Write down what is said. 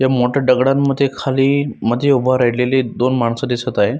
या मोठ्या दगडांमध्ये खाली मध्ये उभा राहिलेली दोन माणस दिसत आहे.